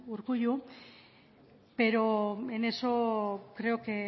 urkullu pero en eso creo